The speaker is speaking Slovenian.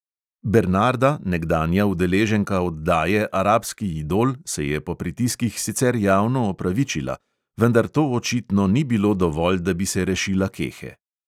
Bernarda, nekdanja udeleženka oddaje arabski idol, se je po pritiskih sicer javno opravičila, vendar to očitno ni bilo dovolj, da bi se rešila kehe.